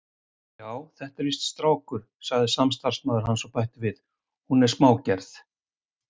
Já, þetta er víst strákur, sagði samstarfsmaður hans og bætti við: Hún er smágerð.